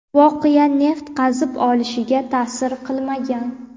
voqea neft qazib olishga ta’sir qilmagan.